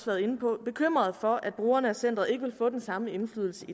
været inde på bekymret for at brugerne af centeret ikke vil få den samme indflydelse